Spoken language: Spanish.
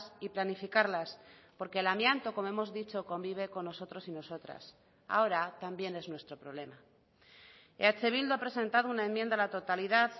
y planificarlas porque el amianto como hemos dicho convive con nosotros y nosotras ahora también es nuestro problema eh bildu ha presentado una enmienda a la totalidad